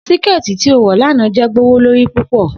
Siketi ti o wọ lana jẹ gbowolori pupọ